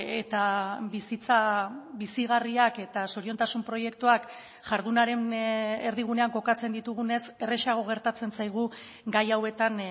eta bizitza bizigarriak eta zoriontasun proiektuak jardunaren erdigunean kokatzen ditugunez errazago gertatzen zaigu gai hauetan